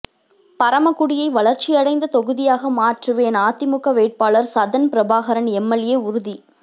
பரமக்குடியை வளர்ச்சியடைந்த தொகுதியாக மாற்றுவேன் அதிமுக வேட்பாளர் சதன் பிரபாகரன் எம்எல்ஏ உறுதி